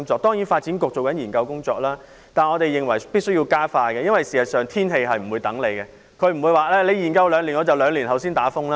當然，發展局正進行研究工作，但我們認為必須要加快，因為天氣不會等我們，不會因為我們要研究兩年便在兩年後才刮颱風。